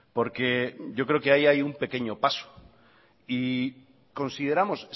porque yo creo que ahí hay un pequeño paso y consideramos